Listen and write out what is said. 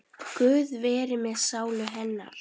Guð veri með sálu hennar.